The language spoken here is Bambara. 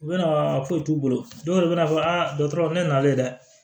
U bɛna foyi t'u bolo dɔw bɛ na fɔ a dɔkɔtɔrɔ ne n'ale dɛ